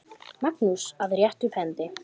Magnús: Að rétta upp hendi.